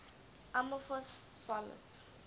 amorphous solids